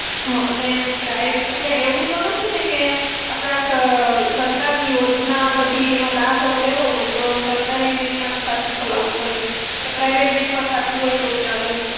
હા અને પ્રાઇ, એટલે એવું તો નથી ને કે, આપણે આ સ સરકાર ની યોજના બધી એનો લાભ લેવો હોય તો સરકારી bank માં જ ખાતું ખોલાવવું પડે? કે private bank માં ખાતું હોય તો ચાલે?